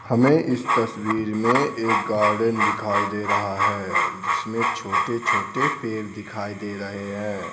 हमें इस तस्वीर में एक गार्डन दिखाई दे रहा है जिसमें छोटे-छोटे पेड़ दिखाई दे रहे हैं.